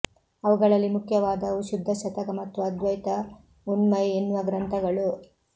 ಅವುಗಳಲ್ಲಿ ಮುಖ್ಯವಾದವು ಶುದ್ಧ ಶತಕ ಮತ್ತು ಅದ್ವೈತ ಉನ್ಮೈ ಎನ್ನುವ ಗ್ರಂಥಗಳು